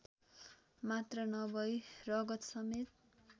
मात्र नभई रगतसमेत